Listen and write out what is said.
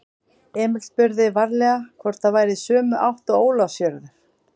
Emil spurði varlega hvort það væri í sömu átt og Ólafsfjörður.